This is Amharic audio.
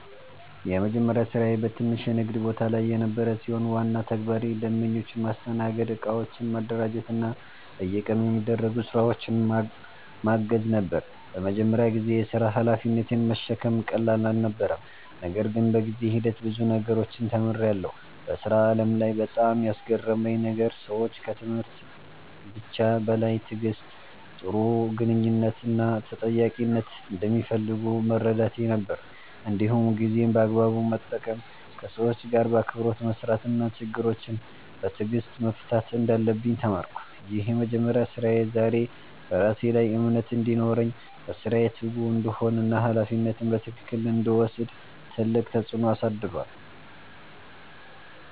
የመጀመሪያ ስራዬ በትንሽ የንግድ ቦታ ላይ የነበረ ሲሆን፣ ዋና ተግባሬ ደንበኞችን ማስተናገድ፣ እቃዎችን ማደራጀት እና በየቀኑ የሚደረጉ ስራዎችን ማገዝ ነበር። በመጀመሪያ ጊዜ የሥራ ሀላፊነትን መሸከም ቀላል አልነበረም፣ ነገር ግን በጊዜ ሂደት ብዙ ነገሮችን ተምሬያለሁ። በሥራ ዓለም ላይ በጣም ያስገረመኝ ነገር ሰዎች ከትምህርት ብቻ በላይ ትዕግሥት፣ ጥሩ ግንኙነት እና ተጠያቂነትን እንደሚፈልጉ መረዳቴ ነበር። እንዲሁም ጊዜን በአግባቡ መጠቀም፣ ከሰዎች ጋር በአክብሮት መስራት እና ችግሮችን በትዕግሥት መፍታት እንዳለብኝ ተማርኩ። ይህ የመጀመሪያ ስራዬ ዛሬ በራሴ ላይ እምነት እንዲኖረኝ፣ በስራዬ ትጉ እንድሆን እና ሀላፊነትን በትክክል እንድወስድ ትልቅ ተጽዕኖ አሳድሯል።